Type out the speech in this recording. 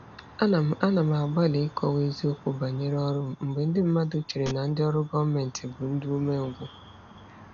Ana m Ana m agbalị ịkọwa eziokwu banyere ọrụ m mgbe ndị mmadụ chere na ndị ọrụ gọọmentị bụ ndị umengwụ.